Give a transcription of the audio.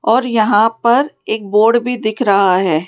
और यहां पर एक बोर्ड भी दिख रहा है।